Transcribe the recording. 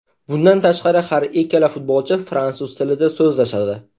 Bundan tashqari har ikkala futbolchi fransuz tilida so‘zlashadi.